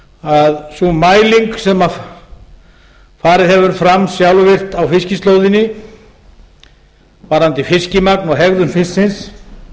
að sú mæling sem farið hefur fram sjálfvirkt á fiskislóðinni varðandi fiskmagn og hegðun fisksins